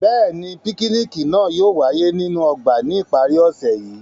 Bẹ́ẹ̀ni, pikiniki naa yóò waye ninu ọgba ni ipari ose yii.